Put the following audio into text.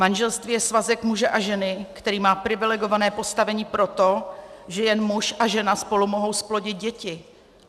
Manželství je svazek muže a ženy, který má privilegované postavení proto, že jen muž a žena spolu mohou zplodit děti.